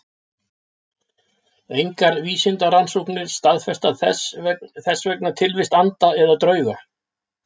Engar vísindarannsóknir staðfesta þess vegna tilvist anda eða drauga.